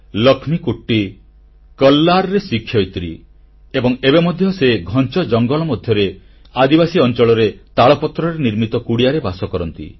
ଲକ୍ଷ୍ମୀକୁଟ୍ଟୀ କଲ୍ଲାରରେ ଶିକ୍ଷୟିତ୍ରୀ ଏବଂ ଏବେ ମଧ୍ୟ ଘଞ୍ଚ ଜଙ୍ଗଲ ମଧ୍ୟରେ ଆଦିବାସୀ ଅଂଚଳରେ ତାଳପତ୍ରରେ ନିର୍ମିତ କୁଡ଼ିଆରେ ବାସ କରନ୍ତି